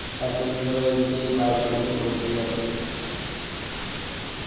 তার জন্য ধরো এদিকে বাড়িতে এখন বসেই আছি.